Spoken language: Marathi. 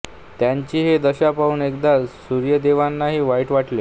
त्यांची ही दशा पाहून एकदा सूर्यदेवांनाही वाईट वाटले